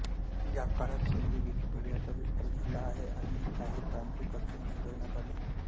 या काळात सिंधी विकिपीडियाचा विस्तार झाला आहे आणि काही तांत्रिक अडचणी सोडविण्यात आल्या